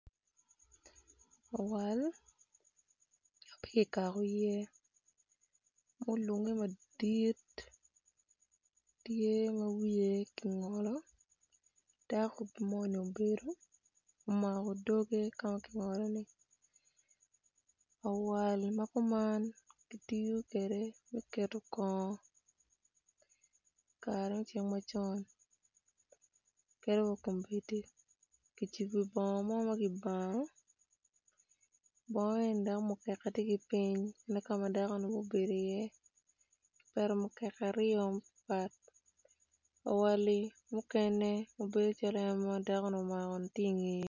Awal ma pe kikako iye ma olunge madit tye ma wiye kingolo dako moni obedo omako doge ka ma kingoloni awal ma kuman kitiyo kwede me keto kongo kare me cik macon kadi wa kombedi kicibo bongo mo ma kibano bongo eni dok mukeka tye ki piny dok ka ma dakoni obedo ki iye kipeto mukeka aryo mapat pat awali mukene bedo calo en ma dakoni omakoni tye ingeye.